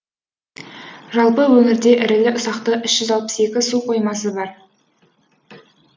жалпы өңірде ірілі ұсақты үш жүз алпыс екі су қоймасы бар